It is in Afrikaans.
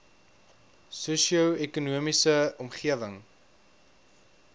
sosio ekonomiese omgewing